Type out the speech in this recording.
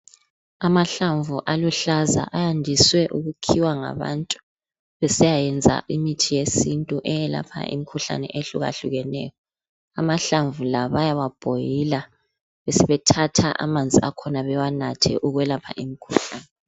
Amahlamvu aluhlaza, ayandiswe ukukhiwa ngabantu besiyayenza imithi yesintu eyelapha imikhuhlane ehlukahlukeneyo. Amahlamvu la bayawa boiler besebethatha amanzi akhona bewanathe ukwelapha imikhuhlane.